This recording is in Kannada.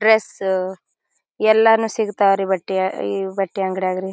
ಡ್ರೆಸ್ ಎಲ್ಲಾನ್ನು ಸಿಗತ್ವರಿ ಬಟ್ಯ ಈವ್ ಬಟ್ಟೆ ಅಂಗಡಿಯ ರೀ.